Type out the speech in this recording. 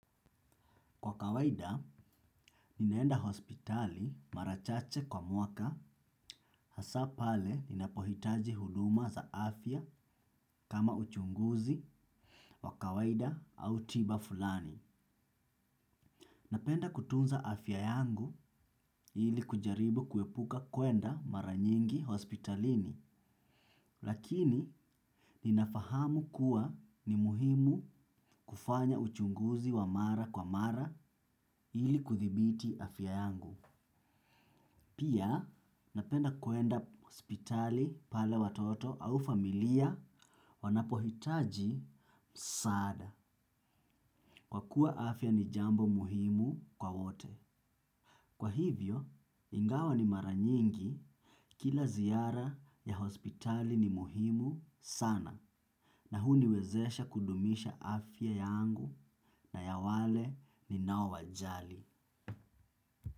Kwa kawaida, ninaenda hospitali mara chache kwa mwaka, hasa pale ninapohitaji huduma za afya kama uchunguzi wa kawaida au tiba fulani. Napenda kutunza afya yangu ili kujaribu kuepuka kwenda mara nyingi hospitalini, lakini ninafahamu kuwa ni muhimu kufanya uchunguzi wa mara kwa mara ili kudhibiti afya yangu. Pia, napenda kwenda hospitali pale watoto au familia wanapohitaji msaada. Kwa kuwa afya ni jambo muhimu kwa wote. Kwa hivyo, ingawa ni mara nyingi kila ziara ya hospitali ni muhimu sana. Na huniwezesha kudumisha afya yangu na ya wale ninaowajali.